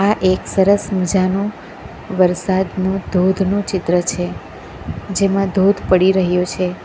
આ એક સરસ મજાનો વરસાદનો ધોધનું ચિત્ર છે જેમાં ધોધ પડી રહ્યો છે.